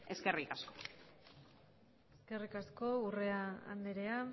eskerrik asko eskerrik asko urrea andrea